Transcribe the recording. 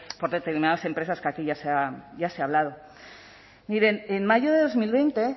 por determinadas empresas que aquí ya se ha hablado miren en mayo de dos mil veinte